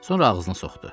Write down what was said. Sonra ağzına soxdu.